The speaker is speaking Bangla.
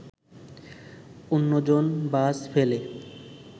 অন্যজন বাস ফেলে